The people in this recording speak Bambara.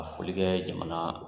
foli kɛ jamana